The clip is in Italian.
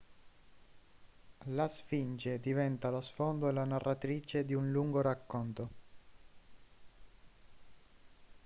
la sfinge diventa lo sfondo e la narratrice di un lungo racconto